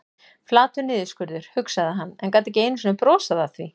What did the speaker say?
Flatur niðurskurður, hugsaði hann, en gat ekki einu sinni brosað að því.